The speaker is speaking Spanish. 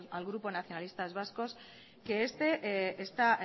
a el grupo nacionalistas vascos que este esta